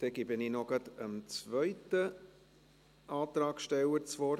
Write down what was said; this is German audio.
Dann gebe ich noch gleich dem zweiten Antragsteller das Wort.